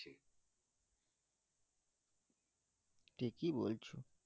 ঠিকই বলছো